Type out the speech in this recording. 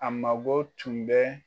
A mago tun bɛ.